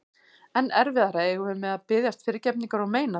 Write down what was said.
Enn erfiðara eigum við með að biðjast fyrirgefningar og meina það.